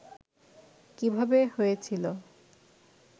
কিভাবে হয়েছিলো